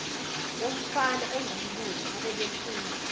womfana ongumlungu ababefunda